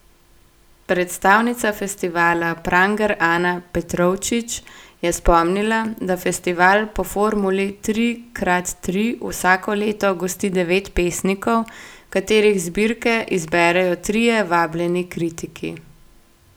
Predstavnica festivala Pranger Ana Petrovčič je spomnila, da festival po formuli tri krat tri vsako leto gosti devet pesnikov, katerih zbirke izberejo trije vabljeni kritiki.